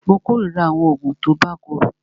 Mó kòrira àwọn oògùn tí o bá korò.